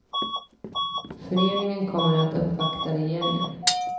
Föreningen kommer nu att uppvakta regeringen.